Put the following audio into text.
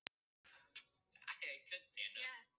Henni kemur hann kannski ekkert við lengur.